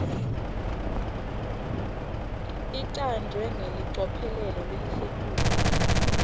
icanjwe ngelicophelo lelisetulu